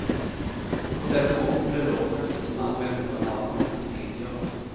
På denne måten ble lovpraksisen anvendt på annen måte enn tidligere.